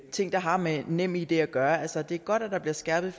ting der har med nemid at gøre altså det er godt at der bliver skærpet